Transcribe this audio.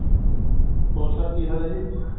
ਹੋਰ sir ਕਿ ਹਾਲ ਹੈ ਜੀ